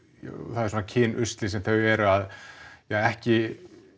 það er svona kynusli sem þau eru ekki